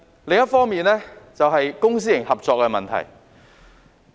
另一方面，是公私營合作的問題。